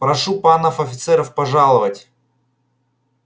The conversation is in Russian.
прошу панов офицеров пожаловать